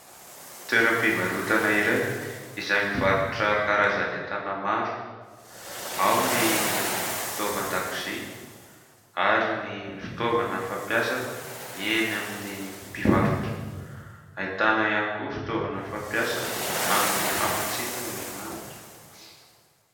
Toeram-pivarotana iray izay mivarotra karazany entana maro, ao ny fitaovan-dakozia ary ny fitaovana fampiasa eny amin'ny mpivarotra, ahitana ihany koa fitaovana fampiasa amin'ny famatsiana herinaratra.